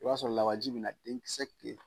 I b'a sɔrɔ laawaji bɛ na denkisɛ